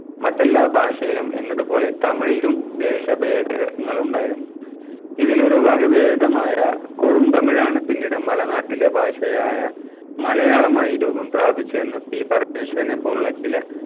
മറ്റെല്ലാ ഭാഷയിലും എന്നതുപോലെ തമിഴിലും ദേശഭേദഗങ്ങൾ ഉണ്ടായിരുന്നു. ഇതിലൊരു വകഭേദമായ കൊടും തമിഴാണ് പിന്നീട മലനാട്ടിലെ ഭാഷയായ മലയാളമായി രൂപം പ്രാപിച്ചയെന്ന് P പരമേഷ്വവരനെപ്പോലുള്ള ചില